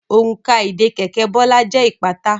Òrùka ìdè kẹ̀kẹ́ Bola jẹ ipata.